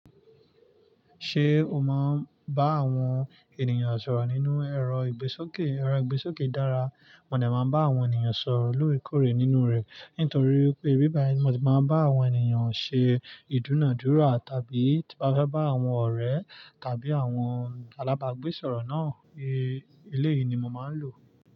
Ṣé o máa ń bá àwọn ènìyàn sọ̀rọ̀ nínú ẹ̀rọ ìgbésókè ẹ̀rọ ìgbésókè dára? Mo dè máa ń bá àwọn ènìyàn sọ̀rọ̀ lóòrèkóòrè nínú rẹ̀, nítorí pé íbàyí mo ti máa ń bá àwọn ènìyàn ṣe ìdúnàádúrà tàbí tí bá fẹ́ bá àwọn ọ̀rẹ́ tàbí àwọn alábàágbésọ̀rọ̀ náà, ilé yìí ni mo máa ń lò.